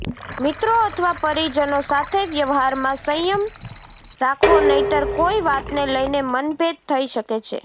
મિત્રો અથવા પરિજનો સાથે વ્યવહારમાં સંયમ રાખવો નહીંતર કોઈ વાતને લઈને મનભેદ થઈ શકે છે